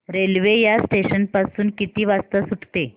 railway या station पासून किती वाजता सुटते